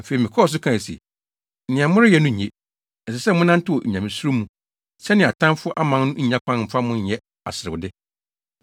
Afei, mekɔɔ so kae se, “Nea moreyɛ no nye. Ɛsɛ sɛ monantew Onyamesuro mu, sɛnea atamfo aman no nnya kwan mfa mo nyɛ aserewde.